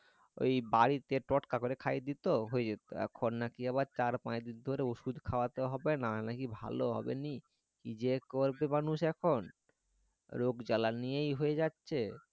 ওই বাড়িতে টোটকা করে খাইয়ে দিতো হয়ে যেত এখন নাকি আবার চার পাঁচ দিন ধরে ঔষুধ খাওয়াতে হইবে না হলে নাকি ভালো হবেনি কি যা করবি মানুষ এখন রোগ জ্বালা নিয়ে হয়ে যাচ্ছে